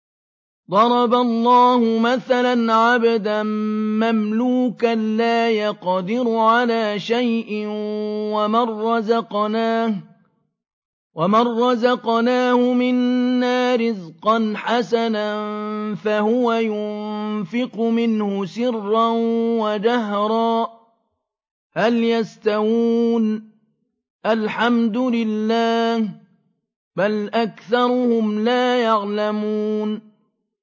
۞ ضَرَبَ اللَّهُ مَثَلًا عَبْدًا مَّمْلُوكًا لَّا يَقْدِرُ عَلَىٰ شَيْءٍ وَمَن رَّزَقْنَاهُ مِنَّا رِزْقًا حَسَنًا فَهُوَ يُنفِقُ مِنْهُ سِرًّا وَجَهْرًا ۖ هَلْ يَسْتَوُونَ ۚ الْحَمْدُ لِلَّهِ ۚ بَلْ أَكْثَرُهُمْ لَا يَعْلَمُونَ